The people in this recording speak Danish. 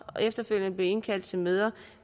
og efterfølgende blive indkaldt til møder